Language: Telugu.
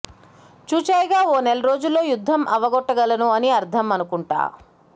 చూచాయగా ఓ నెల రోజుల్లో యుద్ధం అవగొట్టగలను అని అర్ధం అనుకుంటా